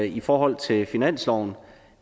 i forhold til finansloven